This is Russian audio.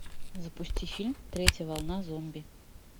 запусти фильм третья волна зомби